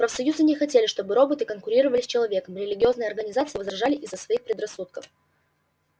профсоюзы не хотели чтобы роботы конкурировали с человеком религиозные организации возражали из-за своих предрассудков